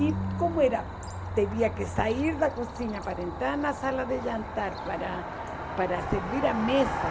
E como era, teria que sair da cozinha para entrar na sala de jantar para para servir à mesa.